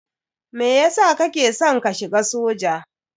Meyasa kake san ka shiga soja?